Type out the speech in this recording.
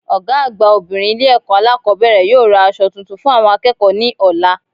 Ògá àgbà obìnrin Ilé èkó alákòbéèrè yóò ra aso tuntun fún àwon akéèkó ní òla